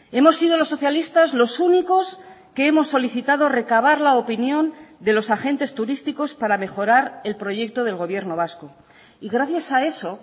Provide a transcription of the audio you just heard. hemos sido los socialistas los únicos que hemos solicitado recabar la opinión de los agentes turísticos para mejorar el proyecto del gobierno vasco y gracias a eso